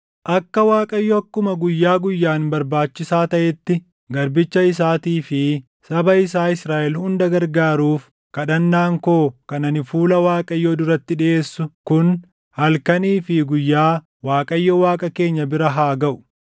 Akka Waaqayyo akkuma guyyaa guyyaan barbaachisaa taʼetti garbicha isaatii fi saba isaa Israaʼel hunda gargaaruuf kadhannaan koo kan ani fuula Waaqayyoo duratti dhiʼeessu kun halkanii fi guyyaa Waaqayyo Waaqa keenya bira haa gaʼu;